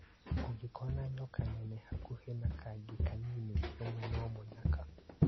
ũngĩkona nyoka nene hakuhĩ na kangi kanini menya no mũnyaka.